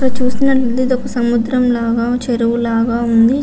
ఇక్కడ చూస్తూనటు ఐతే ఇది సముద్రము లాగా చెరువు లాగా ఉనాది.